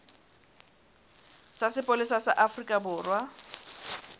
sa sepolesa sa afrika borwa